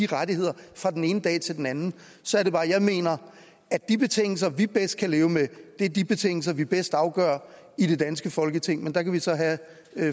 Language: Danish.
rettigheder fra den ene dag til den anden så er det bare jeg mener at de betingelser vi bedst kan leve med er de betingelser vi bedst afgør i det danske folketing men der kan vi så have